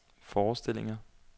forestillinger